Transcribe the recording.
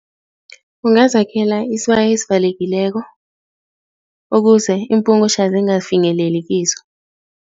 Ungazakhela isibaya esivalekileko ukuze iimpungutjha zingafinyeleli kizo.